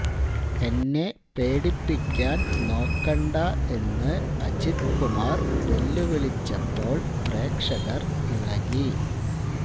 എന്നെ പേടിപ്പിക്കാന് നോക്കണ്ട എന്നു അജിത് കുമാര് വെല്ലുവിളിച്ചപ്പോള് പ്രേക്ഷകര് ഇളകി